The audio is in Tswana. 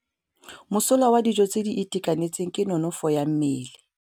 Mosola wa dijô tse di itekanetseng ke nonôfô ya mmele.